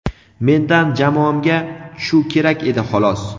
Mendan jamoamga shu kerak edi xolos.